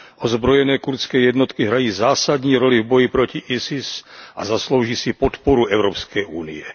Ozbrojené kurdské jednotky hrají zásadní roli v boji proti ISIS a zaslouží si podporu Evropské unie.